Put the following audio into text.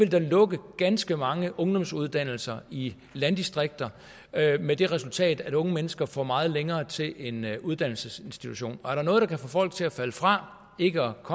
der vil lukke ganske mange ungdomsuddannelser i landdistrikter med det resultat at unge mennesker får meget længere til en uddannelsesinstitution og er der noget der kan få folk til at falde fra og ikke